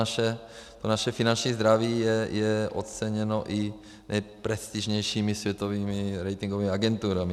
A to naše finanční zdraví je oceněno i nejprestižnějšími světovými ratingovými agenturami.